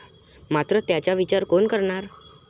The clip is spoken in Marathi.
मात्र त्याचा विचार कोण करणार?